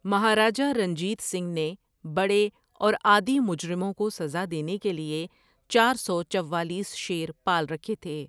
مہارجہ رنجیت سنگھ نے بڑے اور عادی مجرموں کو سزا دینے کے لیے چار سو چوالیس شیر پال رکھے تھے ۔